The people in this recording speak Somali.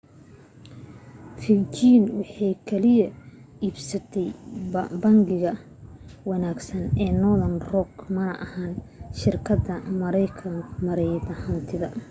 virgin waxay kaliya iibsatay ' bangiga wanaagsan’ ee northern rock mana ahan shirkadda maareynta hantida